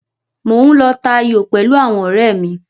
Mò ń lọ ta ayò pẹ̀lú àwọn ọ̀rẹ́ mi.